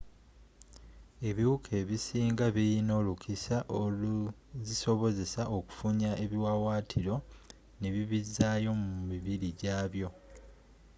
ebiwuka ebisinga birina olukisa oluzisobozesa okufunya ebiwaawatiro nebibizaayo mu mibiri gyabyo